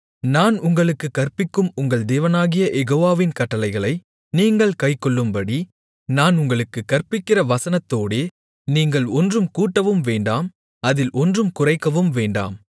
நான் உங்களுக்குக் கற்பிக்கும் உங்கள் தேவனாகிய யெகோவாவின் கட்டளைகளை நீங்கள் கைக்கொள்ளும்படி நான் உங்களுக்குக் கற்பிக்கிற வசனத்தோடே நீங்கள் ஒன்றும் கூட்டவும் வேண்டாம் அதில் ஒன்றும் குறைக்கவும் வேண்டாம்